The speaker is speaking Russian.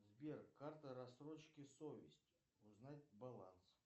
сбер карта рассрочки совесть узнать баланс